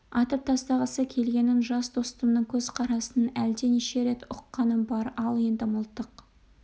атып тастағысы келгенін жас достымның көз қарасынан әлде неше рет ұққаным бар ал енді мылтық